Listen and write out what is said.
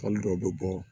dɔw bɛ bɔ